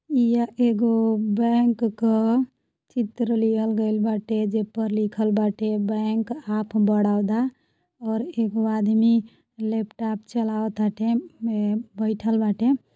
ईय एगो बैंक क चित्र लिहल गइल बाटे। जे पर लिखल बाटे बैंक ऑफ बड़ौदा और एगो आदमी लैपटॉप चलावत टे बईठल बाटे।